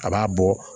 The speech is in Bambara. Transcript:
A b'a bɔ